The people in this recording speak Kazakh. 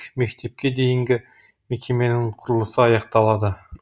мектепке дейінгі мекеменің құрылысы аяқталады